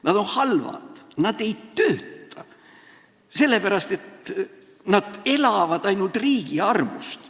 Nad on halvad, nad ei tööta, sest nad elavad ainult riigi armust.